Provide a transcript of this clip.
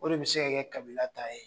O de bɛ se ka kɛ kabila ta ye.